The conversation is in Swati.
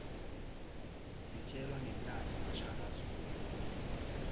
sitjelwa ngemlandvo washaka zulu